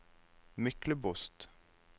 Myklebost